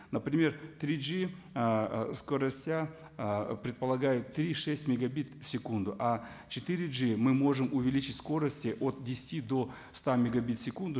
например три джи ыыы скоростя ы предпологают три шесть мегабит в секунду а четыре джи мы можем увеличить скорости от десяти до ста мегабит в секунду